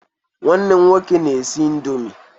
Nwanne m nwoke na-esi indọmii.